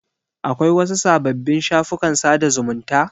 Akwai wasu sababbin shafukan sada zumunta?